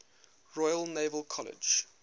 royal naval college